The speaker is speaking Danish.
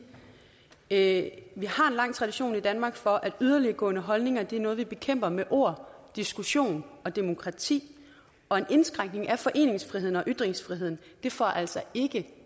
at vi har en lang tradition i danmark for at yderliggående holdninger er noget vi bekæmper med ord diskussion og demokrati og en indskrænkning af foreningsfriheden og ytringsfriheden får altså ikke